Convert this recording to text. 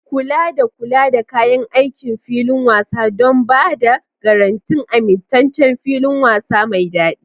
Kula da kula da kayan aikin filin wasa don ba da garantin amintaccen filin wasa mai daɗi.